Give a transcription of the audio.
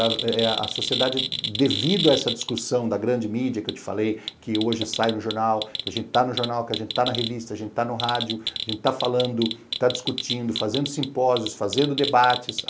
A sociedade, devido a essa discussão da grande mídia, que eu te falei, que hoje sai no jornal, que a gente está no jornal, que a gente está na revista, a gente está no rádio, a gente está falando, está discutindo, fazendo simpósios, fazendo debates.